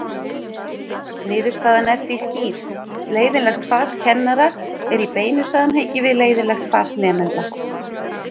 Niðurstaðan er því skýr: Leiðinlegt fas kennara er í beinu samhengi við leiðinlegt fas nemenda.